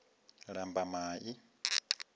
lambamai